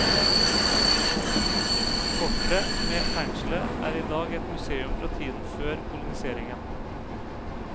Fortet, med fengselet, er idag et museum fra tiden før koloniseringen.